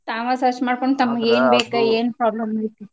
ತಾವ search ಮಾಡ್ಕೊಂಡ್ ತಮಗ್ ಏನ್ ಬೇಕ್ ಏನ್.